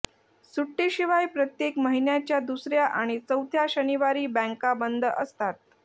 सुट्टीशिवाय प्रत्येक महिन्याच्या दुसर्या आणि चौथ्या शनिवारी बँका बंद असतात